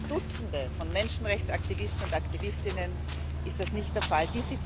Für Dutzende Menschenrechtsaktivisten und aktivistinnen ist das nicht der Fall